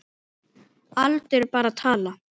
Aldur er bara tala.